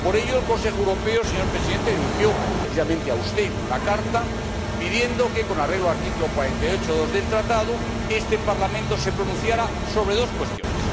Por ello, el Consejo Europeo, señor Presidente, le dirigió precisamente a usted una carta pidiendo que, con arreglo al artículo 48, apartado 2, del Tratado, este Parlamento se pronunciase sobre dos cuestiones.